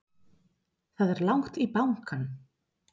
Það er langt í bankann!